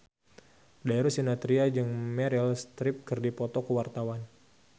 Darius Sinathrya jeung Meryl Streep keur dipoto ku wartawan